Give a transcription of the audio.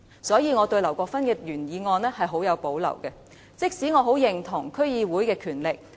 因此，我對於劉國勳議員的原議案十分有保留，儘管我認同應該強化區議會的權力。